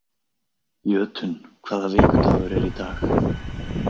Jötunn, hvaða vikudagur er í dag?